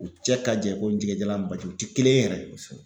U cɛ ka jan i ko jɛgɛjalan baji u ti kelen ye yɛrɛ, kosɛbɛ